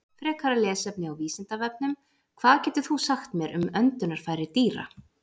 Frekara lesefni á Vísindavefnum: Hvað getur þú sagt mér um öndunarfæri dýra?